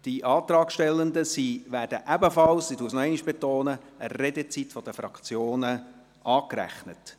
Diese werden ebenfalls – ich betone es nochmals – der Redezeit der Fraktionen angerechnet.